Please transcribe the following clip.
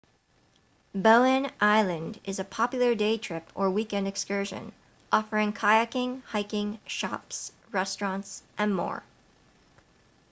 bowen island is a popular day trip or weekend excursion offering kayaking hiking shops restaurants and more